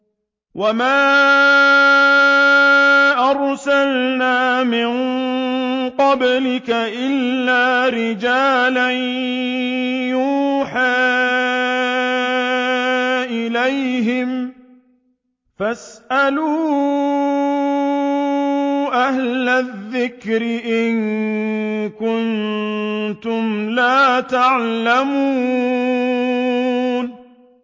وَمَا أَرْسَلْنَا مِن قَبْلِكَ إِلَّا رِجَالًا نُّوحِي إِلَيْهِمْ ۚ فَاسْأَلُوا أَهْلَ الذِّكْرِ إِن كُنتُمْ لَا تَعْلَمُونَ